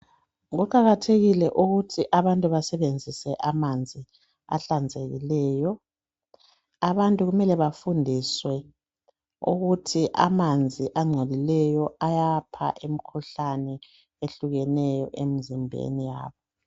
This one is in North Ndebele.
Kuqakathekile ukuthi abantu basebenzise amanzi ahlanzekileyo. Abantu kumele bafundiswe ukuthi amanzi angcolileyo ayapha umkhuhlani ehlukeneyo emzimbeni yabo.